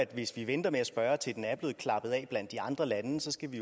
hvis vi venter med at spørge til den er blevet klappet af blandt de andre lande så skal vi